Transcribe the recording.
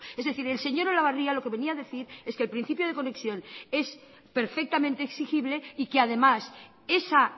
es decir el señor olabarria lo que venía a decir es que el principio de conexión es perfectamente exigible y que además esa